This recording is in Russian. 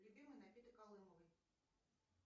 любимый напиток алымовой